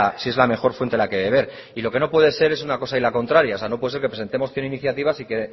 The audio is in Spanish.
si es la mejor fuente en la que beber y lo que no puede ser es una cosa y la contraria o sea no puede ser que presentemos cien iniciativas y que